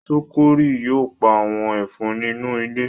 Sokiri yóò pá àwọn Ẹ̀fọ̀n inú ilé.